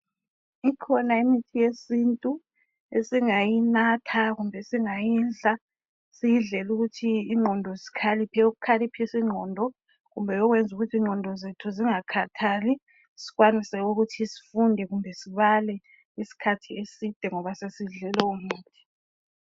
Ikhona imithi yesintu esingayinatha, kumbe esingayidla. Siyidlela ukuthi ingqondo zikhaliphe. Eyokukhaliphisa ingqondo. Kumbe eyokwenza ukuthi ingqondo zethu zingakhathali. Sikwanise ukuthi sifunde, kumbe sibale isikhathi eside , ngoba sesidle lowomuthi.